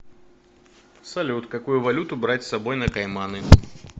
салют какую валюту брать с собой на кайманы